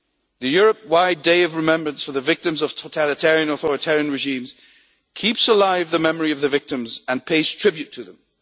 The Europe wide Day of Remembrance for the victims of all totalitarian and authoritarian regimes keeps alive the memory of the victims and pays tribute to them.